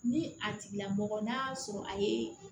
Ni a tigila mɔgɔ n'a y'a sɔrɔ a ye